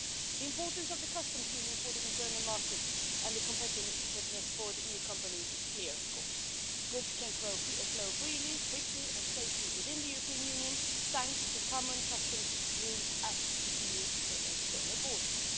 The importance of the Customs Union for the internal market and for the competitiveness of EU companies is, of course, clear. Goods can flow freely, quickly and safely within the European Union thanks to common customs rules at EU external borders.